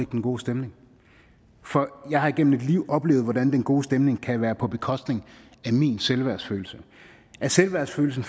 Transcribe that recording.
den gode stemning for jeg har igennem et liv oplevet hvordan den gode stemning kan være på bekostning af min selvværdsfølelse selvværdsfølelsen